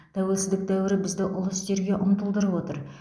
тәуелсіздік дәуірі бізді ұлы істерге ұмтылдырып отыр